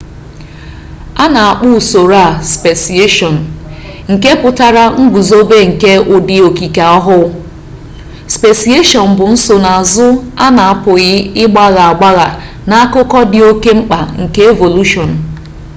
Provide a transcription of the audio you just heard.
anyi na-akpọ usoro a speciation nke pụtara nguzobe nke ụdị okike ọhụụ speciation bụ nsonaazụ a na-apụghị ịgbagha agbagha na akụkụ dị oke mkpa nke evolushọn